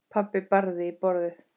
Pabbi barði í borðið.